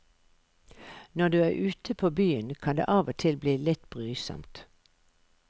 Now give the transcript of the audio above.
Når du er ute på byen kan det av og til bli litt brysomt.